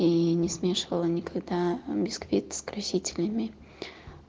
и не смешивала никогда бисквит с красителями